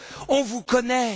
On vous connaît!